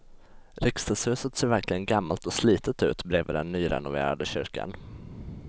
Riksdagshuset ser verkligen gammalt och slitet ut bredvid den nyrenoverade kyrkan.